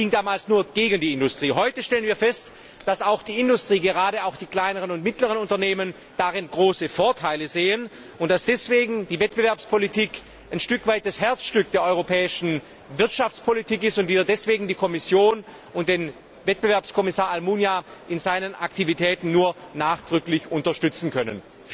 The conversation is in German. Es ging damals nur gegen die Industrie. Heute stellen wir fest, dass auch die Industrie, gerade auch die kleineren und mittleren Unternehmen, darin große Vorteile sieht und dass deswegen die Wettbewerbspolitik ein Stück weit das Herzstück der europäischen Wirtschaftspolitik ist und wir deswegen die Kommission und den Wettbewerbskommissar Almunia in seinen Aktivitäten nur nachdrücklich unterstützen können.